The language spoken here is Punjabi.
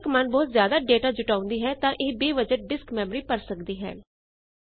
ਜੇ ਪਹਿਲੀ ਕਮਾੰਡ ਬਹੁਤ ਜਿਆਦਾ ਡਾਟਾ ਜੁਟਾਉਂਦੀ ਹੈ ਤਾਂ ਇਹ ਬੇਵਜਾਹ ਡਿਸਕ ਮੈਮਰੀ ਭਰ ਸਕਦੀ ਹੈ